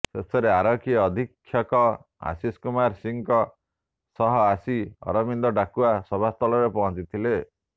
ଶେଷରେ ଆରକ୍ଷୀ ଅଧୀକ୍ଷକ ଆଶିଷ କୁମାର ସିଂହଙ୍କ ସହ ଆସି ଅରିନ୍ଦମ ଡାକୁଆ ସଭାସ୍ଥଳରେ ପହଞ୍ଚି ଥିଲେ